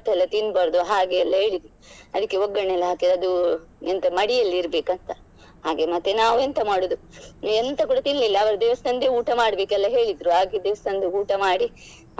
ಎಲ್ಲ ಅಂತೆಲ್ಲ ತಿನ್ಬಾರ್ದು ಹಾಗೆಲ್ಲ ಹೇಳಿದ್ರು ಅದಕ್ಕೆ ಒಗ್ಗರಣೆ ಎಲ್ಲ ಹಾಕಿ ಅದು ಎಂತ ಮಡಿಯಲ್ಲಿ ಇರ್ಬೇಕಂತ ಹಾಗೆ ಮತ್ತೆ ನಾವು ಎಂತ ಮಾಡುದು ಎಂತ ಕೂಡ ತಿನ್ಲಿಲ್ಲ ಅವರು ದೇವಸ್ಥಾನ್ದೇ ಊಟ ಮಾಡ್ಬೇಕು ಎಲ್ಲ ಹೇಳಿದ್ರು ಹಾಗೆ ದೇವಸ್ಥಾನ್ದೇ ಊಟ ಮಾಡಿ